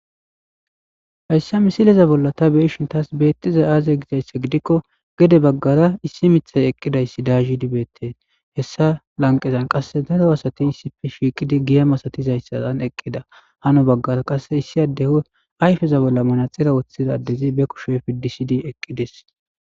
hayssa misileza bolla ta beeshin taas beettiza aaze gizayssa gidikko gede baggara issi mithay eqqidayssi dahi dibetten hessa lanqezan qasse daro asatin issife shiiqidi giya masatizayssaan eqqida hano baggara qasse issi adde ayfeza bolla manaxira woththidaaddezi be kushefi disidi eqqides